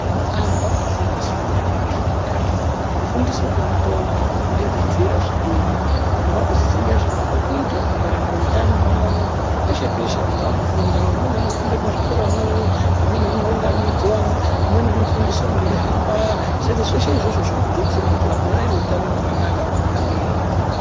Antu akufundiswe maringe nezveutano. Kufundiswe kuri kuite antu kurikuderedzere zvirwere. Vantu vakuziye zvinofanwe kuitwa kungwaririre utano hwavo, peshe peshe antu akufunda. Amweni anofunda muzvikoramwo, amweni anounganidzwa amwe eihamba. Saka zveshe izvozvo zvirikudetsera kuti vantu vave nehutano hwakanaka munyika medu.